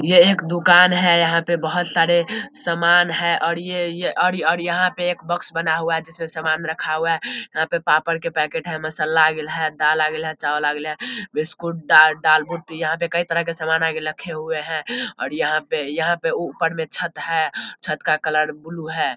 ये एक दुकान है। यहाँ पे बहोत सारे सामान है और ये और और और यहाँ पे एक बॉक्स बना हुआ है जिसमे सामान रखा हुआ है। यहाँ पे पापड़ के पेकेट है मसाला है दाल आगिल है चावल आगल है। बिस्कुट दालमोट यहाँ पे कई तरीके के सामान रखे हुए है । और यहाँ पे यहाँ पे ऊपर छत है। छत का कलर ब्लू है।